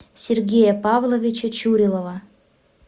сергея павловича чурилова